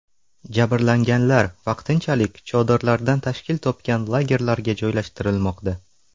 Jabrlanganlar vaqtinchalik chodirlardan tashkil topgan lagerlarga joylashtirilmoqda.